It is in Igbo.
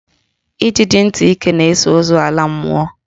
Ijiji ntị ike na-eso ozu ala a mmụọ